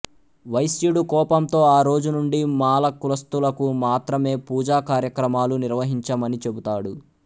వైశ్యుడు కోపంతో ఆ రోజు నుండి మాల కులస్థులకు మాత్రమే పూజాకార్యక్రమాలు నిర్వహించమని చెబుతాడు